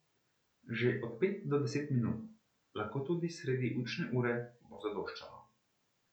Že od pet do deset minut, lahko tudi sredi učne ure, bo zadoščalo.